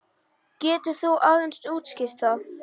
Getur þú aðeins útskýrt það?